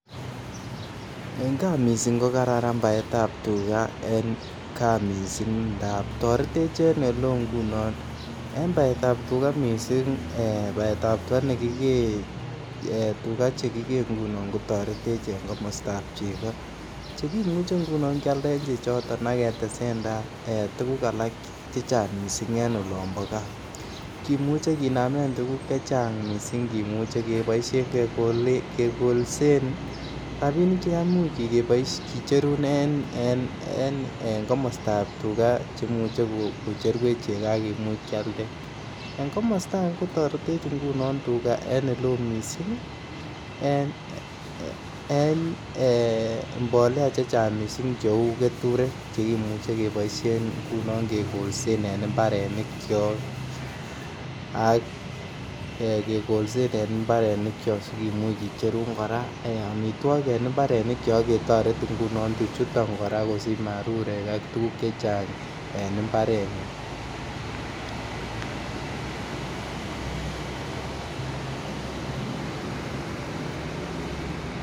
En gaa mising' kogararan baeet ab tuga en gaa mising' ngaab toretech en eleoo ngunon, en baeet ab tuga mising' eeh baet ab tuga negigee baet ab tuga chegigee ngunon kotoretech en komostaab chego, chegimuche ngunon kyaaldeen chechotoon ak ketesentai tuguuk alak chechang mising' en olomboo gaa, kimuche kinaameen tuguuk chechang mising' kimuche kegolseen rabiniik chegamuuch kicheruun en komostaab tuga chemuche kocherwech chego ak kimuuch kyaaldeen, en komosta agee ngunon kotoretech tuga en eleoo mising' een mbolea chechang mising' cheuu ketureek chegimuche keboishen ngunon kegolseen en imbareniik kyook ak kegolseen en imbareniik kyook sigimuuch kicheruun kicheruun koraa omitwogiik en ibareniik kyook ak kimuch ketoreet tuchuton ngunon kosich marurek ak tuguuk chechang' en imbareet nyoon